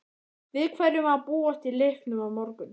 Við hverju má búast í leiknum á morgun?